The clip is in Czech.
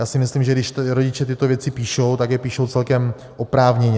Já si myslím, že když rodiče tyto věci píšou, tak je píšou celkem oprávněně.